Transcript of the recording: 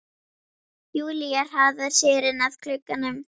Júlía hraðar sér inn að glugganum.